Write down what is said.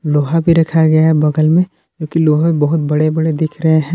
लोहा भी रखा गया है बगल में जोकि लोहे बहुत बड़े बड़े दिख रहे हैं।